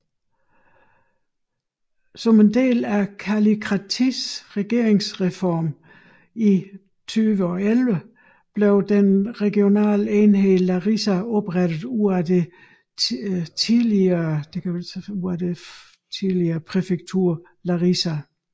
Som en del af Kallikratis regeringsreform i 2011 blev den regionale enhed Larisa oprettet ud af det tidligere præfektur Larisa